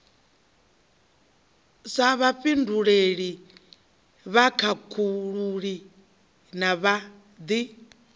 sa vhafhinduleli vhakhakhululi na vhad